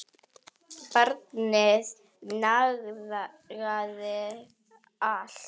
Barnið nagaði allt.